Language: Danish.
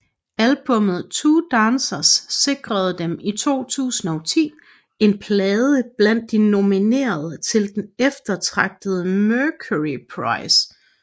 Albummet Two Dancers sikrede dem i 2010 en plads blandt de nominerede til den eftertragtede Mercury Prize